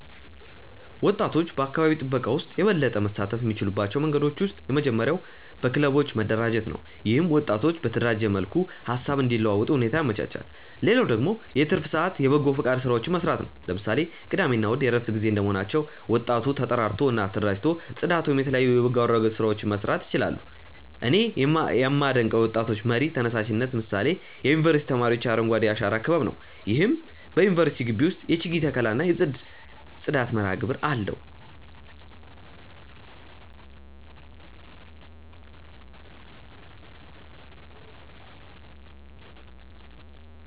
ወጣቶች በአካባቢ ጥበቃ ውስጥ የበለጠ መሳተፍ የሚችሉባቸው መንገዶች ውስጥ የመጀመሪያው በክለቦች መደራጀት ነው። ይህም ወጣቶች በተደራጀ መልኩ ሃሳብ እንዲለዋወጡ ሁኔታ ያመቻቻል። ሌላው ደግሞ የትርፍ ሰአት የበጎፈቃድ ስራዎችን መስራት ነው። ለምሳሌ ቅዳሜ እና እሁድ የእረፍት ጊዜ እንደመሆናቸው ወጣቶ ተጠራርተው እና ተደራጅተው ፅዳት ወይም የተለያዩ የበጎ አገልግሎት ስራዎችን መስራት ይችላሉ። እኔ ያመደንቀው የወጣቶች መር ተነሳሽነት ምሳሌ የዩኒቨርስቲ ተማሪዎች የአረንጓዴ አሻራ ክበብ ነው። ይህም በዩኒቨርስቲው ግቢ ውስጥ የችግኝ ተከላ እና የጽዳት መርሃግብር አለው።